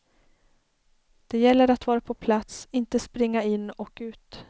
Det gäller att vara på plats, inte springa in och ut.